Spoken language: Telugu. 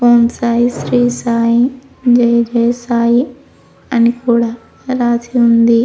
ఓం సాయి శ్రీ సాయి జయ జయ సాయి అని కూడా రాసి ఉంది.